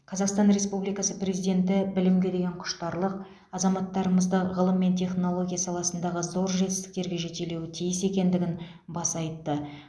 қазақстан республикасы президенті білімге деген құштарлық азаматтарымызды ғылым мен технология саласындағы зор жетістіктерге жетелеуі тиіс екендігін баса айтты